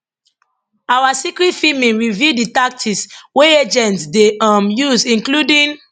our secret filming reveal di tactics wey agents dey um use including